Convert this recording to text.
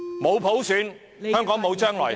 沒有普選，香港便沒有將來。